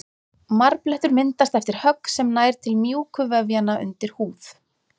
Marblettur myndast eftir högg sem nær til mjúku vefjanna undir húð.